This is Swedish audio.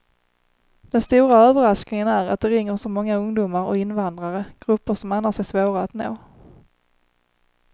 Den stora överraskningen är att det ringer så många ungdomar och invandrare, grupper som annars är svåra att nå.